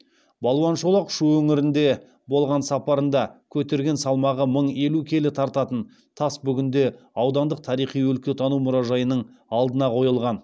балуан шолақ шу өңірінде болған сапарында көтерген салмағы мың елу келі тартатын тас бүгінде аудандық тарихи өлкетану мұражайының алдына қойылған